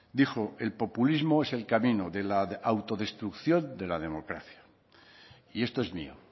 dijo el populismo es el camino de la autodestrucción de la democracia y esto es mío